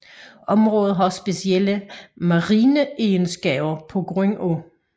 Området har specielle marine egenskaber pga